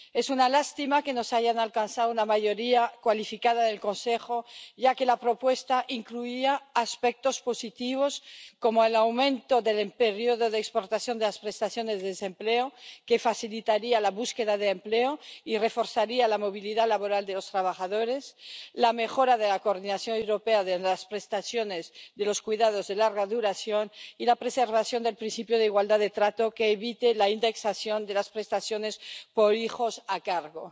Es una lástima que no se haya alcanzado una mayoría cualificada del Consejo, ya que la propuesta incluía aspectos positivos, como el aumento del periodo de exportación de las prestaciones por desempleo —que facilitaría la búsqueda de empleo y reforzaría la movilidad laboral de los trabajadores—, la mejora de la coordinación europea de las prestaciones por cuidados de larga duración y la preservación del principio de igualdad de trato que evite la indexación de las prestaciones por hijos a cargo.